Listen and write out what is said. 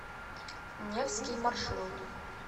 невский маршрут